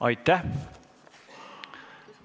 Aitäh!